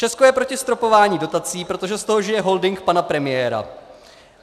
Česko je proti stropování dotací, protože z toho žije holding pana premiéra.